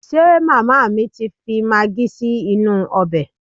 Ṣe màmá mi ti fi magí sí inú ọbẹ̀?